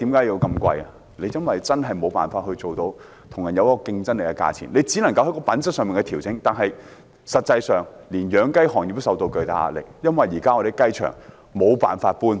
因為在香港真的無法做到具競爭力的價錢，我們只能在品質上作出調整，但實際上，連養雞業也承受巨大壓力，因為現時養雞場無法搬遷。